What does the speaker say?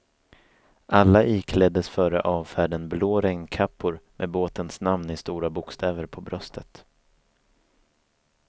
Alla ikläddes före avfärden blå regnkappor med båtens namn i stora bokstäver på bröstet.